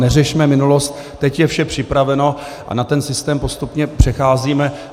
Neřešme minulost, teď je vše připraveno a na ten systém postupně přecházíme.